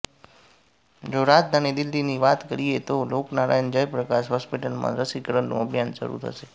જો રાજધાની દિલ્હીની વાત કરીએ તો લોકનારાયણ જય પ્રકાશ હોસ્પિટલમાં રસીકરણનું અભિયાન શરૂ થશે